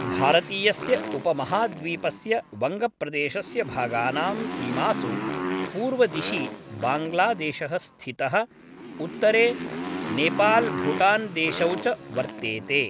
भारतीयस्य उपमहाद्वीपस्य वङ्गप्रदेशस्य भागानां सीमासु पूर्वदिशि बाङ्ग्लादेशः स्थितः, उत्तरे नेपाल्भूटान्देशौ च वर्तेते।